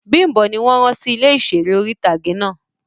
Bimbo ni won ran si ile iṣere ori-itage náa